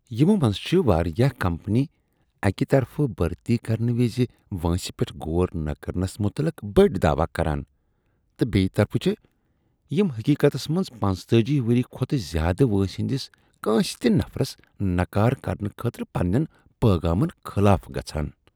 یمو منٛز چِھ واریاہ کمپنیہٕ اکہ طرفہٕ بھرتی کرنہٕ وز وٲنٛسہ پیٹھ غور نہٕ کرنس متعلق بٔڑۍ دعوٕ کران تہٕ بیٚیہ طرفہٕ چھےٚ یمہٕ حقیقتس منٛز پنژتأجی ؤری کھۄتہٕ زیٛادٕ وٲنٛسہ ہٕنٛدس کٲنٛسہ تہ نفرس نکار کرنہٕ خٲطرٕ پنٛنین پیغامن خلاف گژھان